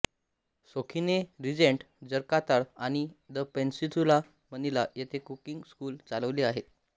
सोखीने Regent Jakarta आणि the Peninsula Manila येथे cooking school चालवले आहेत